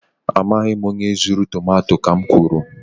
Amaghị m onye zuru tomato, ka m kwuru